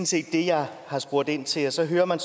set det jeg har spurgt ind til og så hører man